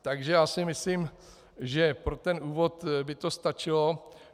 Takže já si myslím, že pro ten úvod by to stačilo.